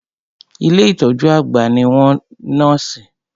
Ilé ìtọjú àgbà ní àwọn nọ́ọ̀sì.